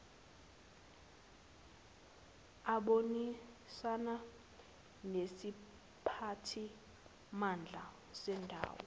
abonisane nesiphathimandla sendawo